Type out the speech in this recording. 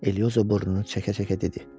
Elioza burnunu çəkə-çəkə dedi.